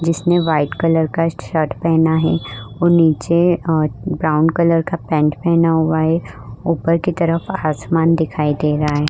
जिसमे white colour का shirt पहना है और नीचे और ब्राउन कलर का पेंट पहना हुआ है ऊपर की तरफ आसमान दिखाई दे रहा है ।